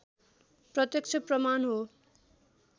प्रत्यक्ष प्रमाण हो